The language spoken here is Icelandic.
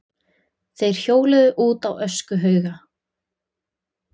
Þeir hjóluðu út á öskuhauga.